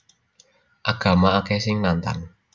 Agama akeh sing nantang